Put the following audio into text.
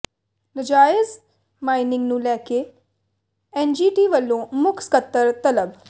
ਨਾਜਾਇਜ਼ ਮਾਈਨਿੰਗ ਨੂੰ ਲੈ ਕੇ ਐੱਨਜੀਟੀ ਵੱਲੋਂ ਮੁੱਖ ਸਕੱਤਰ ਤਲਬ